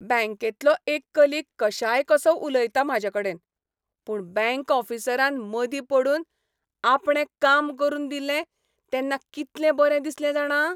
बँकेंतलो एक कलिग कशायकसो उलयलो म्हाजेकडेन, पूण बँक ऑफिसरान मदीं पडून आपणें काम करून दिलें तेन्ना कितलें बरें दिसलें जाणा.